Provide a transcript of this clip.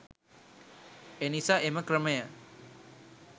එනිසා එම ක්‍රමය